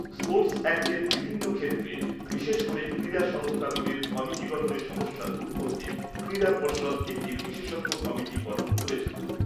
Sports অ্যাক্টের বিভিন্ন ক্ষেত্রে বিশেষ করে ক্রীড়া সংস্থাগুলির কমিটি গঠনে সমস্যা দূর করতে ক্রীড়া পর্ষদ একটি বিশেষজ্ঞ কমিটি গঠন করেছিল।